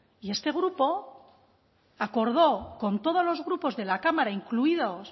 y este grupo acordó con todos los grupos de la cámara incluidos